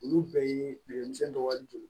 Olu bɛɛ ye denmisɛnnin dɔ wali don